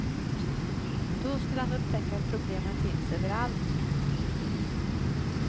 Då skulle han upptäcka att problemen finns överallt.